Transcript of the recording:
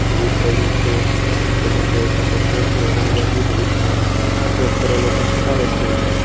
drip પયડી છે ઓમ તમે જોઈ શકો છો કે ઓલી બાજુ ડ્રીપ નો સ્ટોક કરેલો છે ન ખટારો છે એમાં --